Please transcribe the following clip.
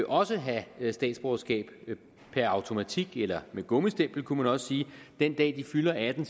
også have statsborgerskab per automatik eller med gummistempel kunne man også sige den dag de fylder atten